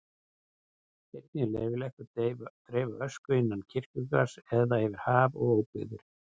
Einnig er leyfilegt að dreifa ösku innan kirkjugarðs eða yfir haf og óbyggðir.